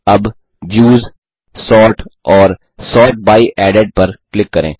अब views sort और sort by added पर क्लिक करें